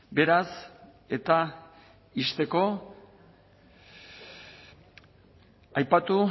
beraz eta ixteko aipatu